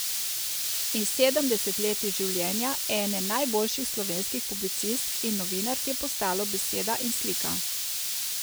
In sedem desetletij življenja ene najboljših slovenskih publicistk in novinark je postalo beseda in slika.